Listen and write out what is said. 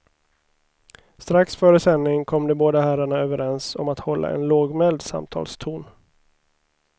Strax före sändning kom de båda herrarna överens om att hålla en lågmäld samtalston.